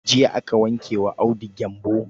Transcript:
Jiya aka wanke wa Audu gyambo.